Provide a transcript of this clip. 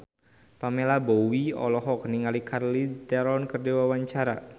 Pamela Bowie olohok ningali Charlize Theron keur diwawancara